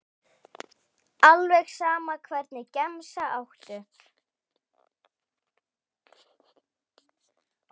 Alveg sama Hvernig gemsa áttu?